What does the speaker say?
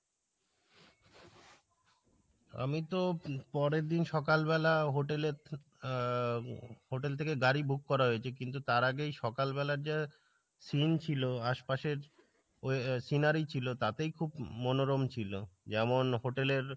আমি তো পরের দিন সকাল বেলা hotel এ আহ hotel থেকে গাড়ি book করা হয়েছে কিন্তু তার আগে সকাল বেলা যে seen ছিলো আশপাশের ওই scenery ছিলো তাতেই খুব ম~মনরম ছিলো যেমন hotel এ